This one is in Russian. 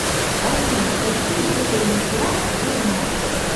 афина какие кукольный театр ты знаешь